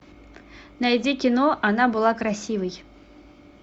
найди кино она была красивой